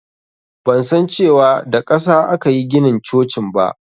Ban san cewa da ƙasa akayi ginin cocin ba